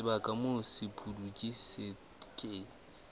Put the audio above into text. sebaka moo sepudutsi se ke